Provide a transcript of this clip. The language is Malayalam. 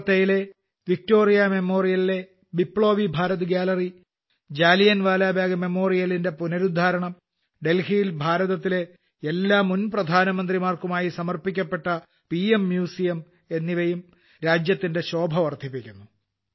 കൊൽക്കൊത്തയിലെ വിക്ടോറിയ മെമ്മോറിയലിലെ ബിപ്ലോബി ഭാരത് ഗ്യാലറി ജാലിയൻവാലാ ബാഗ് മെമ്മോറിയലിന്റെ പുനരുദ്ധാരണം ഡൽഹിയിലെ ഭാരതത്തിലെ എല്ലാ മുൻപ്രധാനമന്ത്രിമാർക്കുമായി സമർപ്പിക്കപ്പെട്ട പിഎം മ്യൂസിയം എന്നിവയും ദേശത്തിന്റെ ശോഭ വർദ്ധിപ്പിക്കുന്നു